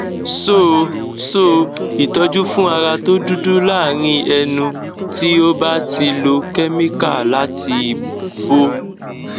so so itoju fun ara to dudu larin enu ti o ba ti lo chemical lati bo